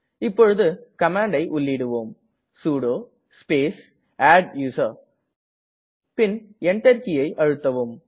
இப்போது கமாண்டை உள்ளிடுவோம் சுடோ ஸ்பேஸ் அட்டூசர் பின் Enter கீயை அழுத்தவும்